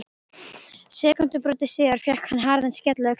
Sekúndubroti síðar fékk hann harðan skell á öxlina.